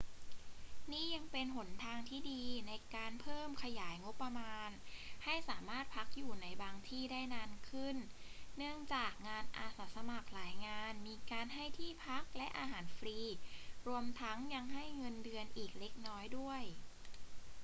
นี่ยังเป็นหนทางที่ดีในการเพิ่มขยายงบประมาณให้สามารถพักอยู่ในบางที่ได้นานขึ้น เนื่องจากงานอาสาสมัครหลายงานมีการให้ที่พักและอาหารฟรี รวมทั้งยังให้เงินเดือนอีกเล็กน้อยด้วย